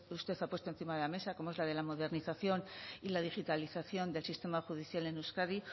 usted ha puesto encima de la mesa como es la de la modernización y la digitalización del sistema judicial en euskadi